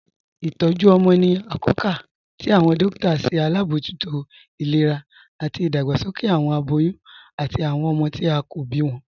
Itọju ọmọ ni akọọ̀kà tí awọn dòkìtà ṣe abojútó ilẹ̀rà ati idàgbàsókè awọn abòyún ati awọn ọmọ tí a kò bí wọn.